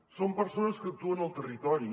són persones que actuen al territori